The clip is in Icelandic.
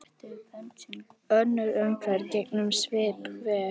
Önnur umferð gengur svipað vel.